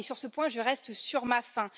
Sur ce point, je reste sur ma faim.